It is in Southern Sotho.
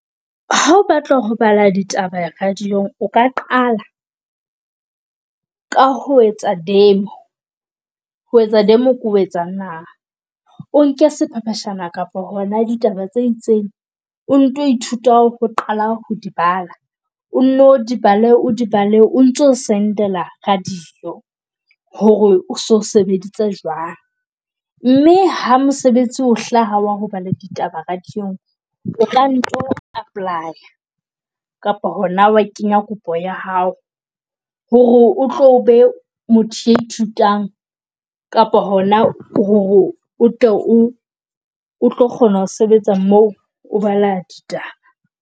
Ha o batla ho bala ditaba radiong, o ka qala ka ho etsa demo. Ho etsa demo ke ho etsa eng na? O nke sephepheshwana kapa hona ditaba tse itseng o nto ithuta ho qala ho di bala. O no di bale o di bale, o ntso sendela radio hore o so sebeditse jwang mme ha mosebetsi o hlaha wa ho bala ditaba radio-ng. O ka nto apply-a kapa hona wa kenya kopo ya hao hore o tlo be motho e ithutwang kapa hona hore o tlo kgona ho sebetsa moo o bala ditaba.